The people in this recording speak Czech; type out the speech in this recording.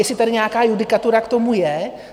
Jestli tady nějaká judikatura k tomu je?